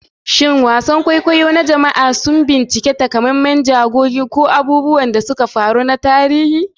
Shin wasan kwaikwayo na jama'a sun bincika takamaiman jigogi ko abubuwan da suka faru na tarihi?